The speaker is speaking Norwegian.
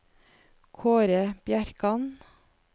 Kaare Bjerkan